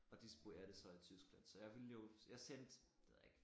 Og disponerer det så i Tyskland så jeg ville jo jeg sendte det ved jeg ikke